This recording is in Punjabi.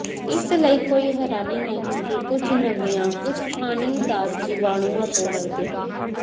ਇਸ ਲਈ ਕੋਈ ਹੈਰਾਨੀ ਨਹੀਂ ਕਿ ਕੁਝ ਨਵੀਆਂ ਕੁੱਝ ਪਾਣੀ ਦਾ ਜੀਵਾਣੂਆਂ ਤੋਂ ਡਰਦੇ ਹਨ